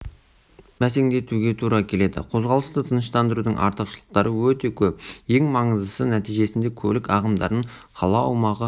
бәсеңдетуге тура келеді қозғалысты тыныштандырудың артықшылықтары өте көп ең маңыздысы нәтижесінде көлік ағымдарын қала аумағы